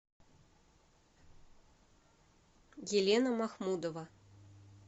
елена махмудова